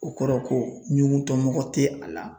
O kɔrɔ ko ɲuguntɔ mɔgɔ tɛ a la